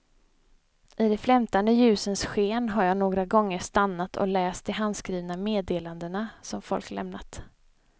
I de flämtande ljusens sken har jag några gånger stannat och läst de handskrivna meddelandena som folk lämnat.